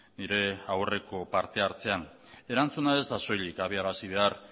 nire aurreko partehartzean erantzuna ez da soilik adierazi behar